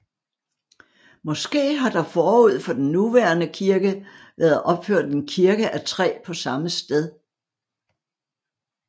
Måske har der forud for den nuværende kirke været opført en kirke af træ på samme sted